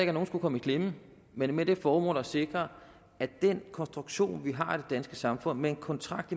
at nogen skulle komme i klemme men med det formål at sikre at den konstruktion vi har i det danske samfund med en kontrakt